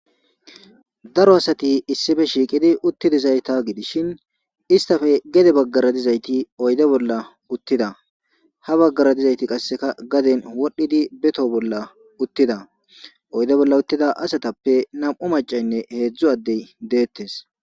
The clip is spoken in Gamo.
Daro asati issife shiiqidi uttidizayta gidishin istafe gede baggara dizayti oyde bolla uttida ha baggara dizayti qasseka gaden wodhdhidi beto bolla uttida oyde bolla uttida asatappe nam'u macaynne heedzdzu addey deettes.